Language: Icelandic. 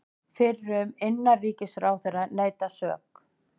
Fyrrum innanríkisráðherra neitar sök